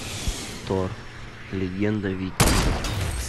тор легенда викингов